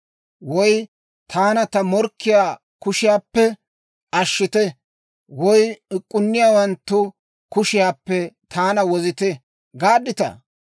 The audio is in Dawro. Woy, ‹Taana ta morkkiyaa kushiyaappe ashshite› woy, ‹Uk'k'inniyaawanttu kushiyaappe taana wozite› gaadditaa?